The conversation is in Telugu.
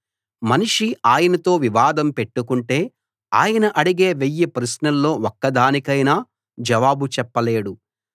మనిషి ఆయనతో వివాదం పెట్టుకుంటే ఆయన అడిగే వెయ్యి ప్రశ్నల్లో ఒక్కదానికైనా జవాబు చెప్పలేడు